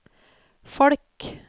folk